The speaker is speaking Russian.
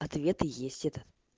ответы есть это